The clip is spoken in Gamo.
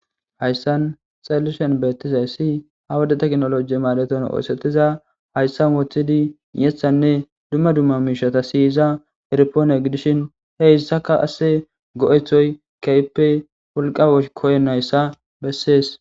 hayssan xallishen beettizay si hawade teknoloji maadeton oosetiza hayssan wothidi yethanne dumma dumma miishata siyiza erpoone gidishin he issaka asse go7ethoy keyppe wolqa koynnayssa bessees